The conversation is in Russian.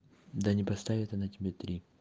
да не поставит она тебе три